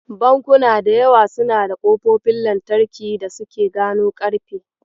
Bankuna da yawa suna da ƙofofin lantarki da suke gano ƙarfe.